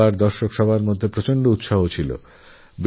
খেলোয়াড় থেকে দর্শক সবাই খুব উৎসাহী ছিলেন